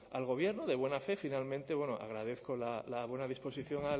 al gobierno de buena fe finalmente bueno agradezco la buena disposición